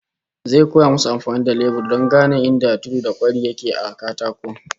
Zai koya musu amfani da lebur don gane inda kwari da tudu yake a katako